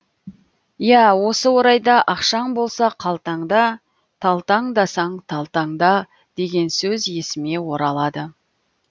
иә осы орайда ақшаң болса қалтаңда талтаңдасаң да талтаңда деген сөз есіме оралады